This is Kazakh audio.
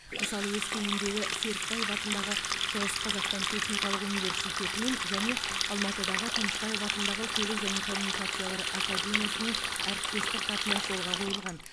мысалы өскемендегі серікбаев атындағы шығыс қазақстан техникалық университетімен және алматыдағы тынышбаев атындағы көлік және коммуникациялар академиясымен әріптестік қатынас жолға қойылған